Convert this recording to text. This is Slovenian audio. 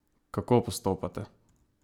Kako postopate?